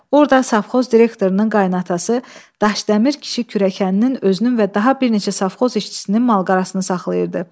Orda safxoz direktorunun qaynatası Daşdəmir kişi kürəkəninin özünün və daha bir neçə safxoz işçisinin mal-qarasını saxlayırdı.